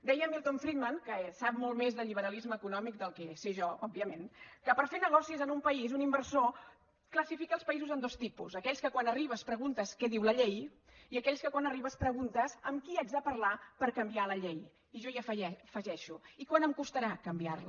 deia milton friedman que sap molt més de liberalisme econòmic del que sé jo òbviament que per fer negocis en un país un inversor classifica els països en dos tipus aquells que quan arribes preguntes què diu la llei i aquells que quan arribes preguntes amb qui haig de parlar per canviar la llei i jo hi afegeixo i quant em costarà canviar la